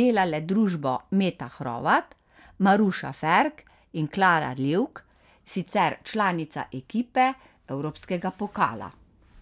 delale družbo Meta Hrovat, Maruša Ferk in Klara Livk, sicer članica ekipe evropskega pokala.